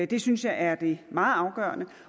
det synes jeg er det meget afgørende